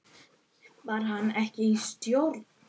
Var hann ekki í stjórn?